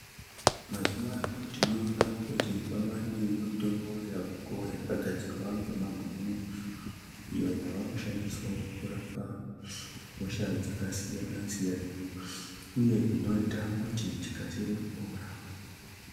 Mazuva ano tinoona kuti kwava nemitombo yavako yakagadzirwa ngemabhunu iyo yava kushandiswawo kurapa hosha dzakasiyanasiyana uye inoita kuti tikasire kupora.